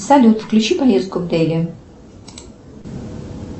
салют включи поездку в дели